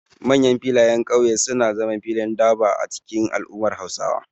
Manyan filayen kauye suna zama filin durbar a cikin al'ummar Hausawa.